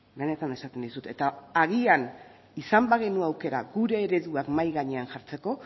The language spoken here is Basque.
benetan esaten dizut eta agian izan bagenu aukera gure ereduak mahai gainean jartzeko